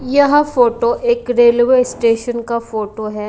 यह फोटो एक railway station का फोटो है।